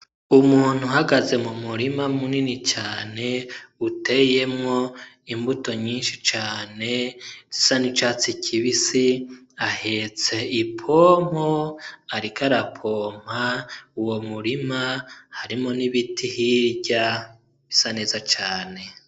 Umuntu uhagaze mu murima munini cane uteyemwo imbuto nyinshi cane zisa n'icatsi kibisi ahetse ipompo ariko arapompa uwo murima harimwo n'ibiti hirya bisa neza cane.